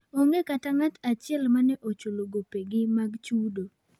Onge kata ng'ato achiel mane ochul gopegi mag chudo.